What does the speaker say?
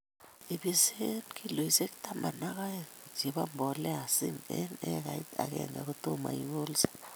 Ibise kiloishek taman ak aeng chebo mbolea ,Zinc eng ekait akenge kotoma ikolse